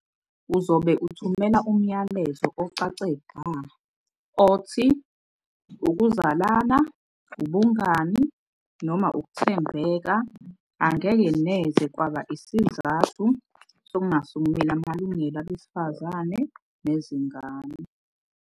Uzobe uthumela umyalezo ocace bha othi ukuzalana, ubungani noma ukuthembeka angeke neze kwaba isizathu sokungasukumeli amalungelo abesifazane nezingane.